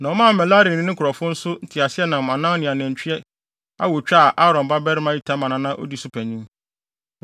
na ɔmaa Merari ne ne nkurɔfo nso nteaseɛnam anan ne anantwi awotwe a Aaron babarima Itamar na na odi so panyin.